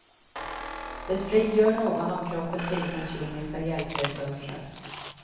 Det frigör någon av kroppens egna kemiska hjälpresurser.